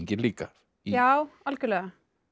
líka já algjörlega